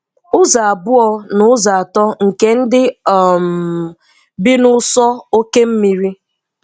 Ụzọ abụọ n'ụzọ atọ nke ndị um bi n'ụsọ oké osimiri.